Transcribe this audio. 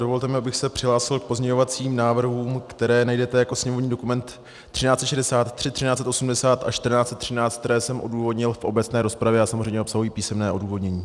Dovolte mi, abych se přihlásil k pozměňovacím návrhům, které najdete jako sněmovní dokument 1363, 1380 a 1413, které jsem odůvodnil v obecné rozpravě a samozřejmě obsahují písemné odůvodnění.